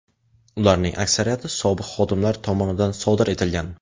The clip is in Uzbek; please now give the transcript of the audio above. Ularning aksariyati sobiq xodimlar tomonidan sodir etilgan.